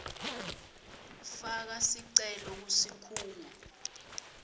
faka sicelo kusikhungo